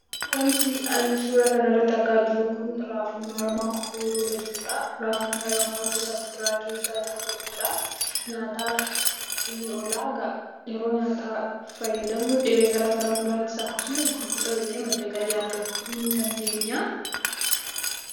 Wanti an suuraa kanarratti argaa jiru kun, raafuu maramaa ooyiruurra jirudha. Raafuu maramaan gosa fuduraa keessaa isa tokkodha. Nyaataaf ni oola. Yeroo nyaata fayyadamnu dhibee garagaraa nurraa ittisa. Akkasumas gurgurreellee madda galii argachuu ni dandeenya.